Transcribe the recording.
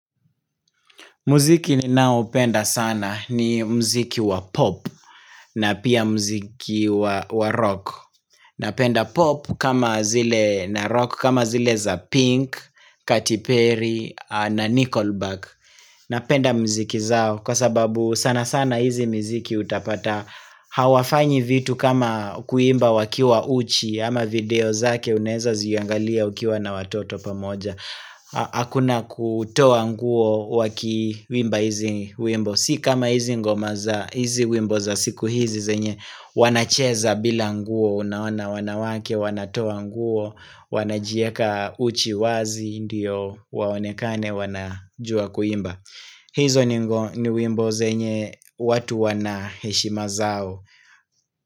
Muziki ninao penda sana ni muziki wa pop na pia muziki wa rock Napenda pop kama zile na rock kama zile za pink, Katy Perry na Nickelback Napenda miziki zao kwa sababu sana sana hizi miziki utapata Hawafanyi vitu kama kuimba wakiwa uchi ama video zake unaweza ziangalia ukiwa na watoto pamoja Hakuna kutoa nguo waki wimba hizi wimbo Si kama hizi ngoma za wimbo za siku hizi zenye wanacheza bila nguo naoana wanawake wanatoa nguo wanajieka uchi wazi mdiyo waonekane wanajua kuimba hizo ni wimbo zenye watu wana heshima zao.